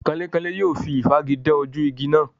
Kanlékanlé yóò fi ìfági dán ojú igi náà.